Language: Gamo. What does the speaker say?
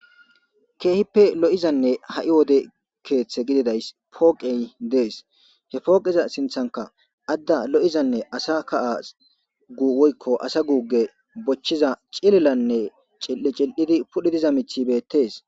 Keehippe lo7izanne ha7i wode keeththe gididays pooqey dees he pooqiza sinthanka adda lo7izanne asa ka aas gu woykko asa guuge bochchiza cililanne cil7e cil7idi pudhidiza mithi beettees.